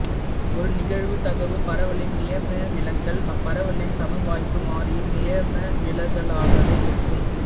ஒரு நிகழ்தகவுப் பரவலின் நியமவிலகல் அப்பரவலின் சமவாய்ப்பு மாறியின் நியமவிலகலாகவே இருக்கும்